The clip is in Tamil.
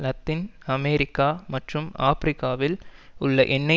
லத்தீன் அமெரிக்கா மற்றும் ஆபிரிக்காவில் உள்ள எண்ணெய்